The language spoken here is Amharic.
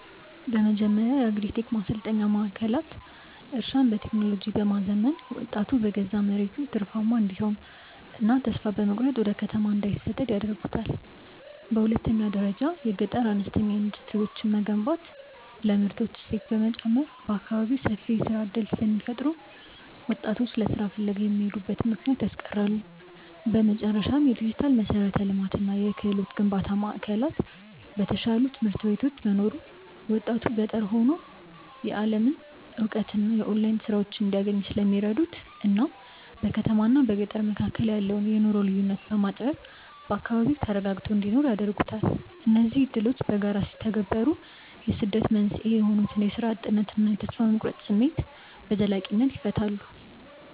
በመጀመሪያ የአግሪ-ቴክ ማሰልጠኛ ማዕከላት እርሻን በቴክኖሎጂ በማዘመን ወጣቱ በገዛ መሬቱ ትርፋማ እንዲሆንና በተስፋ መቁረጥ ወደ ከተማ እንዳይሰደድ ያደርጉታል። በሁለተኛ ደረጃ የገጠር አነስተኛ ኢንዱስትሪዎችን መገንባት ለምርቶች እሴት በመጨመር በአካባቢው ሰፊ የሥራ ዕድል ስለሚፈጥሩ ወጣቶች ለሥራ ፍለጋ የሚሄዱበትን ምክንያት ያስቀራሉ። በመጨረሻም፣ የዲጂታል መሠረተ ልማትና የክህሎት ግንባታ ማዕከላት በተሻሉ ትምህርት ቤቶች መኖሩ ወጣቱ ገጠር ሆኖ የዓለምን እውቀትና የኦንላይን ሥራዎችን እንዲያገኝ ስለሚረዱት እናም በከተማና በገጠር መካከል ያለውን የኑሮ ልዩነት በማጥበብ በአካባቢው ተረጋግቶ እንዲኖር ያደርጉታል። እነዚህ ዕድሎች በጋራ ሲተገበሩ የስደት መንስኤ የሆኑትን የሥራ እጥነትና የተስፋ መቁረጥ ስሜት በዘላቂነት ይፈታሉ።